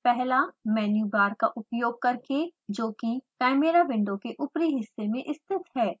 पहला menu bar का उपयोग करके जो कि chimera विंडो के ऊपरी हिस्से में स्थित है